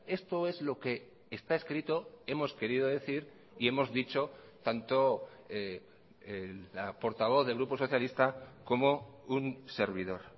esto es lo que está escrito hemos querido decir y hemos dicho tanto la portavoz del grupo socialista como un servidor